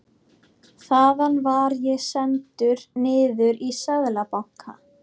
Þaðan var ég sendur niður í Seðlabanka.